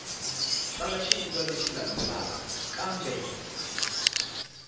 tsala xivulwa lexi landzelaka kambe